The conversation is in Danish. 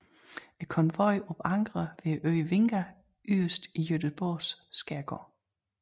Konvojen opankrer ved øen Vinga yderst i Gøteborgs skærgård